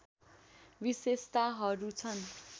विशेषताहरू छन्